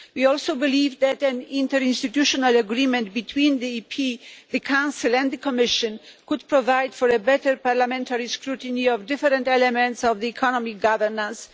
We also believe that an interinstitutional agreement between Parliament, the Council and the Commission could provide for better parliamentary scrutiny of different elements of economic governance.